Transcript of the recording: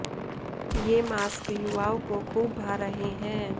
ये मास्क युवाओं को खूब भा रहे हैं